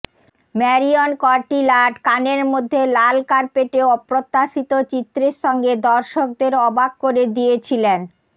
Marion Cotillard কানের মধ্যে লাল কার্পেটে অপ্রত্যাশিত চিত্রের সঙ্গে দর্শকদের অবাক করে দিয়েছিলেন